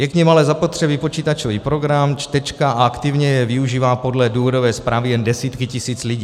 Je k nim ale zapotřebí počítačový program, čtečka, a aktivně je využívají podle důvodové zprávy jen desítky tisíc lidí.